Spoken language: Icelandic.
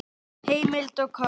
Heimild og kort